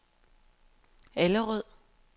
Allerød